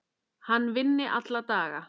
Hann vinni alla daga.